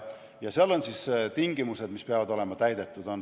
Ja seal on tingimused, mis peavad olema täidetud.